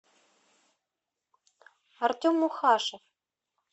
артем мухашев